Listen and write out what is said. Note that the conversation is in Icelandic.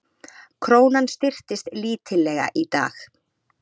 Krónan styrktist lítillega í dag